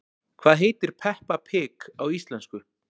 Hvað heitir Peppa pig á íslensku?